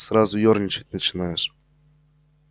сразу ёрничать начинаешь